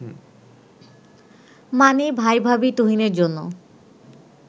মানে ভাই-ভাবি তুহিনের জন্য